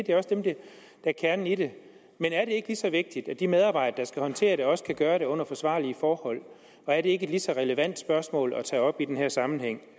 det også dem der er kernen i det men er det ikke lige så vigtigt at de medarbejdere der skal håndtere det også kan gøre det under forsvarlige forhold og er det ikke et lige så relevant spørgsmål at tage op i den her sammenhæng